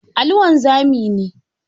Ali wanzami ne.